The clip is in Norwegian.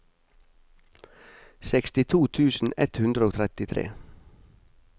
sekstito tusen ett hundre og trettitre